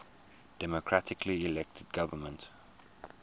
democratically elected government